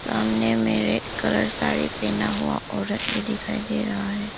सामने में red colour sari पहना हुआ औरत भी दिखाई दे रहा है।